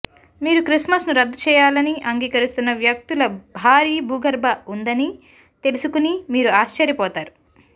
మీరు క్రిస్మస్ను రద్దు చేయాలని అంగీకరిస్తున్న వ్యక్తుల భారీ భూగర్భ ఉందని తెలుసుకుని మీరు ఆశ్చర్యపోతారు